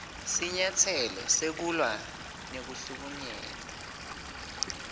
sinyatselo sekulwa nekuhlukunyetwa